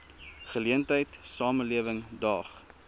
geleentheid samelewing daag